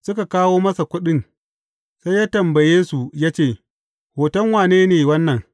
Suka kawo masa kuɗin, sai ya tambaye, su ya ce, Hoton wane ne wannan?